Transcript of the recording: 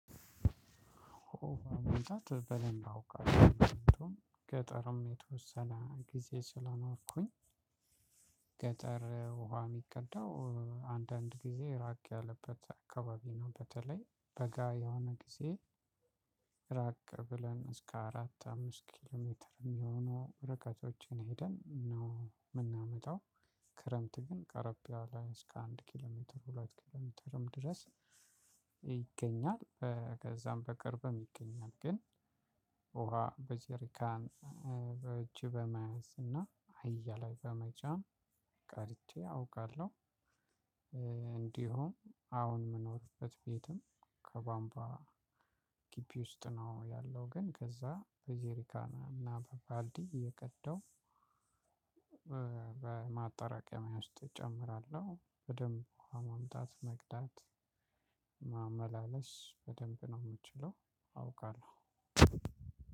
ገጠርም የተወሰነ ጊዜ ስላኖርኩኝ ስለኖርኩኝ ገጠር ውሃ የሚቀዳው አንዳንድ ጊዜ ራቅ ያለበት አካባቢ ነው። በተለይ በጋ የሆነ ጊዜ ራቅ ብለን እስከ አራት አምስት ኪሎ ሜትር የሚሆኑ ርቀቶችን ሄደን ነው የምናመጣው። ክረምት ግን ቀረብ ያለ እስከ አንድ ኪሎሜትር ሁለት ኪሎሜትርም ድረስ ይገኛል። ከዛም በቅርብም ይገኛል ግን ውሃ በጄሪካን በእጅ በመያዝ እና አያ ላይ በመጫን ቀርቼ አውቃለሁ። እንዲሁም አሁን የምኖርበት ቤትም ከባንባ ግቢ ውስጥ ነው ያለው። ግን ከዛ በጄሪካና በባልዲ የቀደው። በማጣራቀሚያ ውስጥ እጨምራለሁ በደንብ ውሃ ማምጣት መቅዳት ማመላለስ በደንብ ነው የምችለው አውቃለሁ።